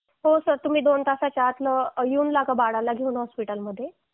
हो सर तुम्ही दोन तासाच्या त्या बाळाला घेऊन